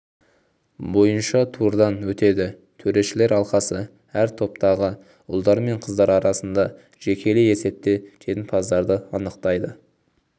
бойынша турдан өтеді төрешілер алқасы әр топтағы ұлдар мен қыздар арасында жекелей есепте жеңімпаздарды анықтайды